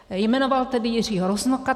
Jmenoval tedy Jiřího Rusnoka.